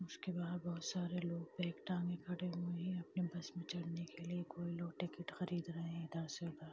उसके बाहर बहुत सारे लोग बैग टांगे खड़े है अपने बस में चढ़ने के लिए कोई लोग टिकट खरीद रहे इधर से उधर।